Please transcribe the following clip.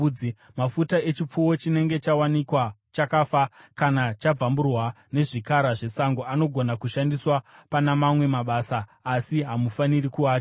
Mafuta echipfuwo chinenge chawanikwa chakafa kana chabvamburwa nezvikara zvesango anogona kushandiswa pana mamwe mabasa asi hamufaniri kuadya.